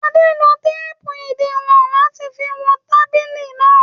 Adé lo téépù ìdiwọn láti fi wọn tábìlì náà.